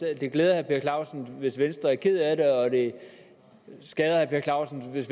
det glæder herre per clausen hvis vi i venstre er kede af det og det skader herre per clausen hvis